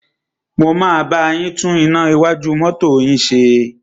Mo máa bá yín tún iná iwájú mọ́tọ́ yín ṣe.